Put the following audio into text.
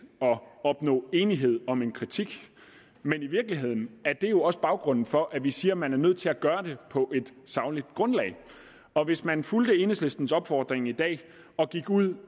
at opnå enighed om en kritik men i virkeligheden er det jo også baggrunden for at vi siger at man er nødt til at gøre det på et sagligt grundlag og hvis man fulgte enhedslistens opfordring i dag og gik ud